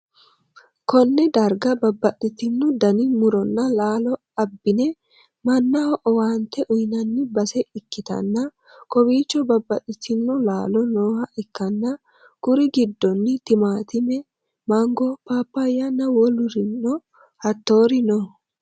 konne darga bababxxitino dani muronna laalo abbi'ne mannaho owaante uynanni base ikkitanna, kowiicho bababbaxxitino laalo nooha ikkanna, kuri'u giddoonni timaatime, mango, paappayyanna wolurino hattoori no.